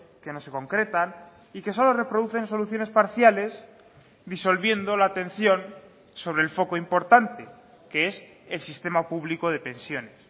que no se concretan y que solo reproducen soluciones parciales disolviendo la atención sobre el foco importante que es el sistema público de pensiones